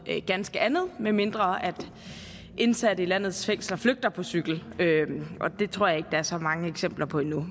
ganske andet medmindre indsatte i landets fængsler flygter på cykel og det tror jeg ikke er så mange eksempler på endnu